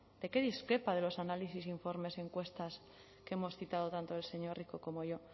de qué discrepa de los análisis e informes encuestas que hemos citado tanto el señor rico como yo